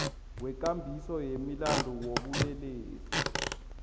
wekambiso yemilandu wobulelesi